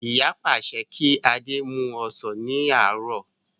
Ìyá pàṣẹ kí adé mú ọsàn ní àárọ̀